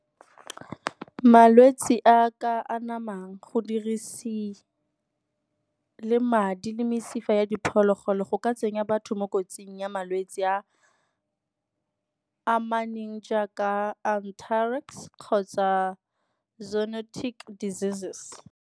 Malwetse a a ka anamang, go dirisiwa le madi le mesifa ya diphologolo go ka tsenya batho mo kotsing ya malwetse a amaneng jaaka kgotsa diseases.